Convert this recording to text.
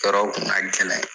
Tɔɔrɔ kun ka gɛlɛn